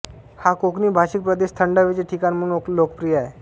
हा कोकणी भाषिक प्रदेश थंड हवेचे ठिकाण म्हणून लोकप्रिय आहे